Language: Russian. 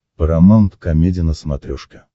парамаунт комеди на смотрешке